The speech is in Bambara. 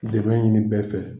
Dɛmɛ ɲini bɛɛ fɛ